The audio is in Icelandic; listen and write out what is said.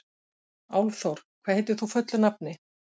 Álfþór, hvað heitir þú fullu nafni?